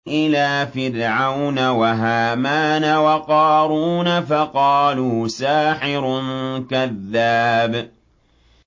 إِلَىٰ فِرْعَوْنَ وَهَامَانَ وَقَارُونَ فَقَالُوا سَاحِرٌ كَذَّابٌ